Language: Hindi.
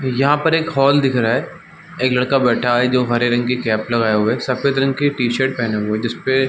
यहाँ पर एक हॉल दिख रहा है एक लड़का बैठा है जो हरे रंग की कैप लगाया हुआ है एक सफेद रंग की टी-शर्ट पहना हुआ है जिसपे --